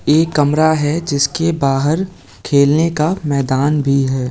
ए कमरा है जिसके बाहर खेलने का मैदान भी है।